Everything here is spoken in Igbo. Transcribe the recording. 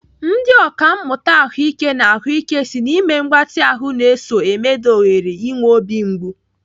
Ndị ọkàmmụta ahụike n'ahụike si na ime mgbatị ahụ na-eso emeda ohere inwe obi mgbu.